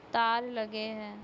तार लगे है।